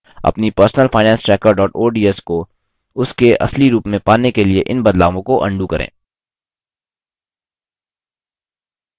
अपनी personalfinancetracker ods को उसके असली रूप में पाने के लिए इन बदलावों को अन्डू करें